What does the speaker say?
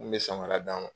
N kun be samara d'a ma